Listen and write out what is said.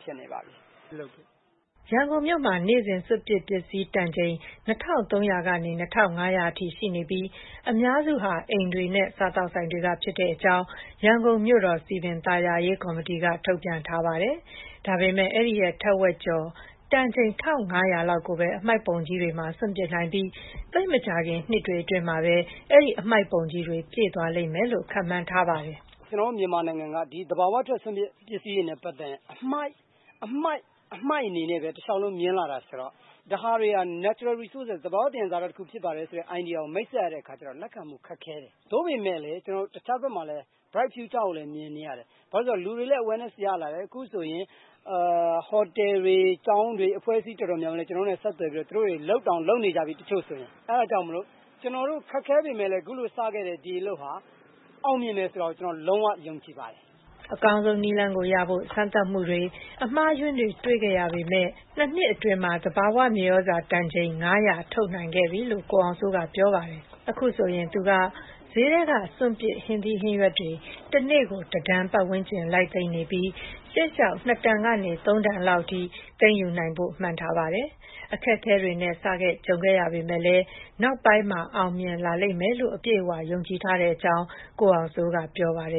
ဖြစ်နေပါပြီ။” ရန်ကုန်မြို့မှာ နေ့စဉ် စွန့်ပစ်ပစ္စည်း တန်ချိန် ၂၃၀၀ ကနေ ၂၅၀၀ အထိ ရှိနေပြီး အများစုဟာ အိမ်တွေနဲ့ စားသောက်ဆိုင်တွေက ဖြစ်ကြောင်း ရန်ကုန်မြို့တော် စည်ပင်သာယာရေး ကော်မတီက ထုတ်ပြန်ထားပါတယ်။ ဒါပေမယ့် အဲဒီရဲ့ထက်ဝက်ကျော်လေး တန်ချိန် ၁၅၀၀ လောက်ကိုပဲ အမှိုက်ပုံကြီးတွေမှာ စွန့်ပစ်နိုင်ပြီး သိပ်မကြာခင်နှစ်တွေအတွင်းမှာပဲ အဲဒီ အမှိုက်ပုံကြီးတွေ ပြည့်သွားမယ်လို့ခန့်မှန်းထားပါတယ်။ “ကျနော်တို့ မြန်မာနိုင်ငံက ဒီ သဘာဝထွက် စွန့်ပစ် ပစ္စည်းတွေနဲ့ ပတ်သက်ရင် အမှိုက်အနေနဲ့ပဲ တလျှောက်လုံး မြင်လာတာဆိုတော့ ဒါတွေက Natural Resources သဘာ၀ သံယံဇာတ တခုဖြစ်တယ်ဆိုတဲ့ idea ကို မိတ်ဆက်ရတဲ့အခါကျတော့ ခက်ခဲတယ်။ သို့ပေမယ့် ကျနော်တို့ တဘက်မှာတော့ Bright future ကို မြင်နေရတယ်။ ဘာဖြစ်လို့လဲဆိုတော့ လူတွေလည်း awareness ရလာတယ်။ အခုဆိုရင် ဟိုတယ်၊ ကျောင်းတွေ အဖွဲ့အစည်းတော်တော်များများကလည်း ကျနော်တို့နဲ့ ဆက်သွယ်ပြီးတော့ သူတို့တွေ လုပ်တောင် လုပ်နေပြီ တချို့ဆိုရင် အဲဒါကြောင့်မို့လို့ ကျနော်တို့ ခက်ခဲပေမယ့် အခုလို စခဲ့တဲ့ ဒီအလုပ်ဟာ အောင်မြင်တယ်ဆိုတာကို ကျနော်လုံး၀ ယုံကြည်ပါတယ်။” အကောင်းဆုံးနည်းလမ်းကိုရဖို့ စမ်းသပ်မှုတွေ၊ အမှားအယွင်းတွေ တွေ့ခဲ့ရပေမယ့် အခုတော့ ၂ နှစ်အတွင်း သဘာဝမြေသြဇာ တန်ချိန် ၅၀၀ ထုတ်လုပ်နိုင်ခဲ့ပြီလို့ ကိုအောင်စိုးက ပြောပါတယ်။ အခုဆိုရင် သူက ဈေးထဲက စွန့်ပစ် ဟင်းသီးဟင်းရွက်တွေ တနေ့ကို ၁ တန်ဝန်းကျင် လိုက်သိမ်းနေပြီး ရှေ့လျှောက် ၂ တန်ကနေ ၃ တန်လောက်အထိ သိမ်းယူနိုင်ဖို့ မှန်းထားပါတယ်။ အခက်အခဲတွေနဲ့ စခဲ့ ကြုံခဲ့ရပေမယ့်လည်း နောက်ပိုင်းမှာ အောင်မြင်လာလိမ့်မယ်လို့ အပြည့်အဝယုံကြည်ထားကြောင်း ကိုအောင်စိုးက ပြောပါတယ်